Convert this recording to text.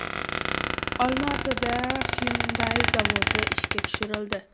Olmaotada Hyundai zavodi ishga tushirildi.